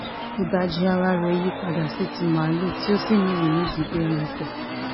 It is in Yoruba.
ìdajì ara rẹ̀ yípadà sí ti màálùú tí ó sì ní irú nídìí bíi ẹranko